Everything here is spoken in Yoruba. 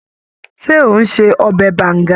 Ṣé ò ń se ọbẹ̀ Banga?